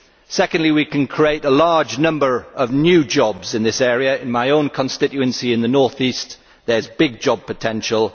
Secondly, we can create a large number of new jobs in this area in my own constituency of the North East there is big job potential.